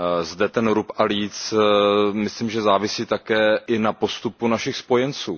Zde ten ruba a líc, myslím, že závisí také i na postupu našich spojenců.